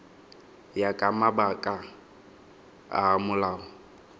ya ka mabaka a molao